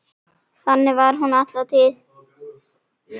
Þannig var hún alla tíð.